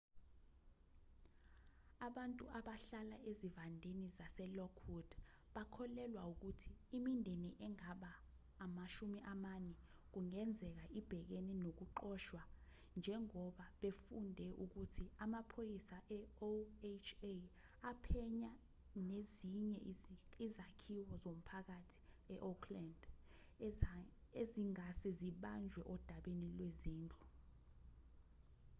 abantu abahlala ezivandeni zasel lockwood bakholelwa ukuthi imindeni engama 40 kungenzeka ibhekene nokuxoshwa njengoba befunde ukuthi amaphoyisa eoha aphenya nezinye izakhiwo zomphakathi eoakland ezingase zibanjwe odabeni lwezindlu